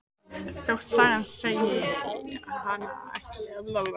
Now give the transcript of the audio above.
Þótt sagan segði hana ekki hafa trúað á neitt.